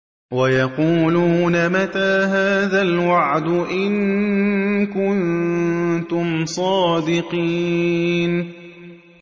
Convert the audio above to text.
وَيَقُولُونَ مَتَىٰ هَٰذَا الْوَعْدُ إِن كُنتُمْ صَادِقِينَ